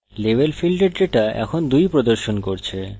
level ফীল্ডের data এখন 2 প্রদর্শন করছে